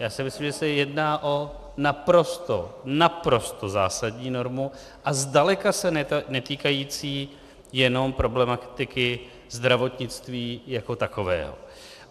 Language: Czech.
Já si myslím, že se jedná o naprosto, naprosto zásadní normu a zdaleka se netýkající jenom problematiky zdravotnictví jako takového.